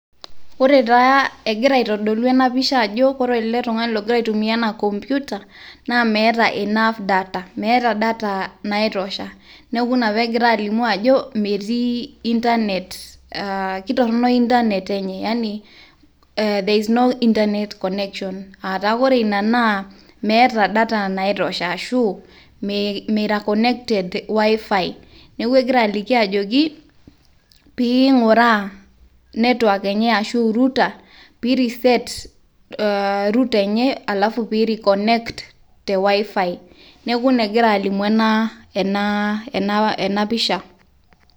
Ore taa egira aitodolu ena pisha ajo ore ele tungani logira aitumia ena computer naa meeta enough data . meeta data naitosha . neku ina pegira alimu ajo ,metii internet , kitorono internet enye. yani there is no internet connection ataa ore ina naa meeta data naitosha ashu meira connected wifi . niaku egira aliki ajoki pinguraa network enye ashu pi reset router enye alafu pi reconnect the wifi.